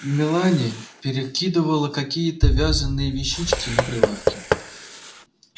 мелани перекидывала какие-то вязаные вещички на прилавке